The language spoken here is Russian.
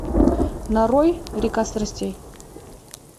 нарой река страстей